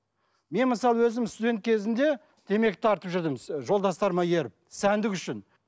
мен мысалы өзім студент кезімде темекі тартып жүрдім жолдастарыма еріп сәндік үшін